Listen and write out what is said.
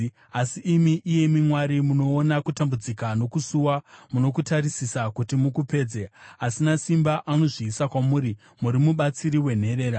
Asi imi, iyemi Mwari, munoona kutambudzika nokusuwa; munokutarisisa kuti mukupedze. Asina simba anozviisa kwamuri; muri mubatsiri wenherera.